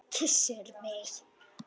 Kyssir mig.